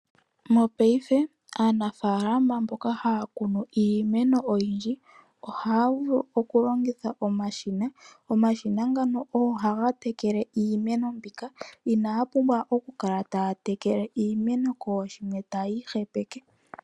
Mopaife aanafaalama mboka haya kunu iimeno oyindji ohaya vulu okulongitha omashina. Omashina ngano ogo haga tekele iimeno mbika, inaya pumbwa okukala taya tekele iimeno kooshimwe taya ihepeke.